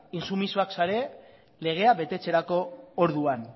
intsumisoak zarete legea betetzerako orduan